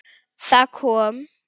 Það kom